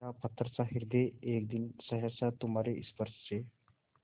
मेरा पत्थरसा हृदय एक दिन सहसा तुम्हारे स्पर्श से